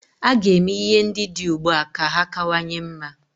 A ga-eme ihe ndị dị ugbua ka ha kawanye mma.